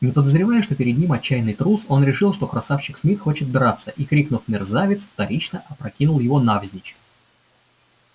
не подозревая что перед ним отчаянный трус он решил что красавчик смит хочет драться и крикнув мерзавец вторично опрокинул его навзничь